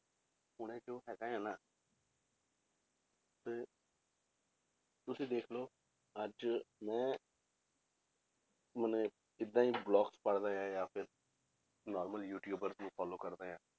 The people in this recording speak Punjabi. ਹੁਣੇ ਕਿਉਂ ਹੈਗਾ ਹੈ ਨਾ ਤੇ ਤੁਸੀਂ ਦੇਖ ਲਓ ਅੱਜ ਮੈਂ ਮਨੇ ਏਦਾਂ ਹੀ blogs ਪੜ੍ਹਦਾ ਆ ਜਾਂ ਫਿਰ normal ਯੂਟਿਊਬਰ ਨੂੰ follow ਕਰਦਾ ਆਂ,